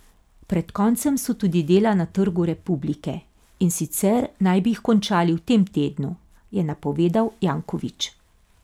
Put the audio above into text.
Pred koncem so tudi dela na Trgu republike, in sicer naj bi jih končali v tem tednu, je napovedal Janković.